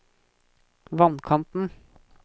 vannkanten